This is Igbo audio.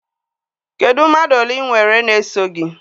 Kedụ mmadụ ole inwere na-eso gị?